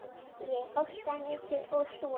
Ég hóstaði mikið og svona.